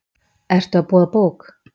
Ertu að boða bók?